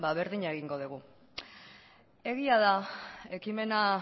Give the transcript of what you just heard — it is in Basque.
berdina egingo dugu egia da ekimena